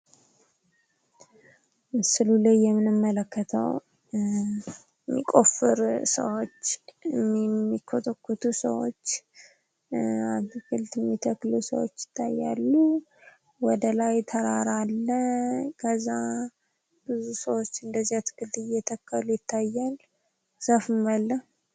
ምስሉ ላይ የምንመለከተው የሚቆፍሩ ሰዎች፣ የሚኮተኩቱ ሰዎች ፣ አትክልት የሚተክሉ ሰዎች ይታያሉ። ወደ ላይ ተራራ አለ ከዛ ብዙ ሰዎች እነደዛ አትክልት እየተከሉ ይታያል። ዛፍም አለ።